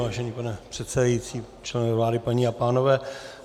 Vážený pane předsedající, členové vlády, paní a pánové.